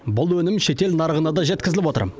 бұл өнім шетел нарығына да жеткізіліп отыр